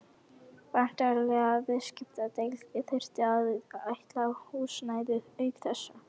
Væntanlegri viðskiptadeild þyrfti að ætla húsnæði auk þessa.